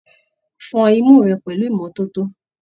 Fọn imú rẹ pẹlú ìmọ́tótó!